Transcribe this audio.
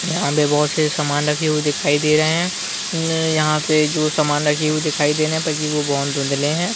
यहाँ पे बहुत से सामान रखे हुए दिखाई दे रहे है अम यहाँ पे जो सामन रखे हुए दिखाई दे रहे है ताकि वो बहुत धुंधले है ।